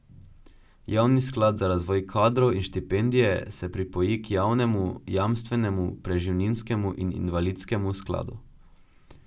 Javni sklad za razvoj kadrov in štipendije se pripoji k javnemu jamstvenemu, preživninskemu in invalidskemu skladu.